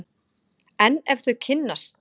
En ef þau kynnast!